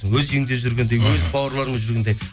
өз үйіңде жүргендей өз бауырларыңмен жүргендей